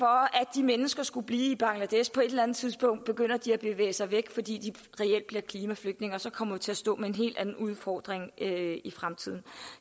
de mennesker skulle blive i bangladesh på et eller andet tidspunkt begynder de at bevæge sig væk fordi de reelt bliver klimaflygtninge og så kommer vi til at stå med en helt anden udfordring i fremtiden